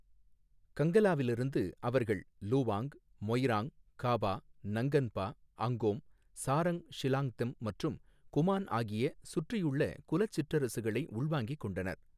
கங்லாவிலிருந்து அவர்கள் லுவாங், மொய்ராங், காபா நங்கன்பா, அங்கோம், சாரங் லீஷாங்தெம் மற்றும் குமான் ஆகிய சுற்றியுள்ள குலச் சிற்றரசுகளை உள்வாங்கிக் கொண்டனர்.